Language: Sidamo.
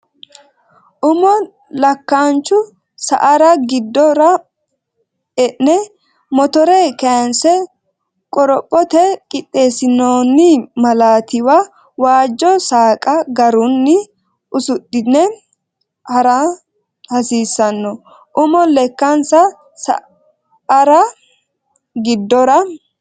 Umo Lekkaanchu sa ara giddora e ne motore kayinse qorophote qixxeessinoonni malaatiwa waajjo saqqe garunni usudhine ha ra hasiissanno Umo Lekkaanchu sa ara giddora.